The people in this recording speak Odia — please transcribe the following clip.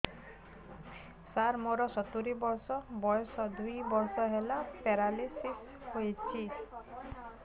ସାର ମୋର ସତୂରୀ ବର୍ଷ ବୟସ ଦୁଇ ବର୍ଷ ହେଲା ପେରାଲିଶିଶ ହେଇଚି